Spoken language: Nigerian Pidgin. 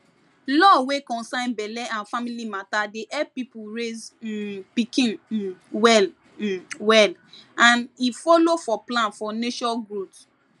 law wey concern belle and family matter dey help people raise um pikin um well um well and e follow for plan for nation growth